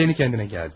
Təzəcə özünə gəldi.